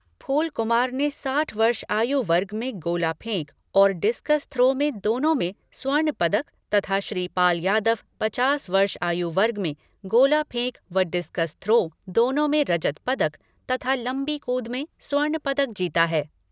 फूल कुमार ने साठ वर्ष आयु वर्ग में गोला फेंक और डिस्कस थ्रो, दोनों में स्वर्ण पदक तथा श्रीपाल यादव ने पचास वर्ष आयु वर्ग में गोला फेंक व डिसकस थ्रो, दोनो में रजत पदक तथा लंबी कूद में स्वर्ण पदक जीता है।